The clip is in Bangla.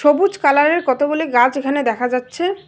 সবুজ কালার -এর কতগুলি গাছ এখানে দেখা যাচ্ছে।